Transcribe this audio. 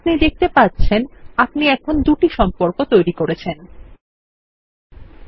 আপনি দেখতে পাচ্ছেন আমরা এখনি দুটি সম্পর্ক তৈরি করেছি